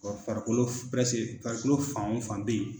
farikolo farikolo fan o fan bɛ ye.